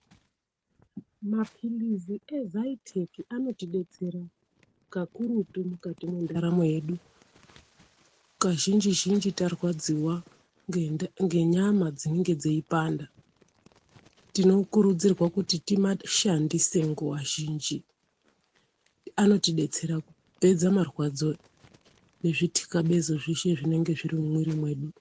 Maphirizi ezaiteki anotibetsera kakurutu mukati mendaramo yedu. Kazhinji-zhinji tarwadziva ngenyama dzinenge dzeipanda. Tinokurudzirwa kuti timashandise nguva zhinji anotibetsera kupedza marwadzo nezvitikabezo zveshe zvinonga zviri mumwiri medu.